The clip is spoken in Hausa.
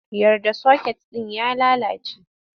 Yar da soket ɗin ya lalace!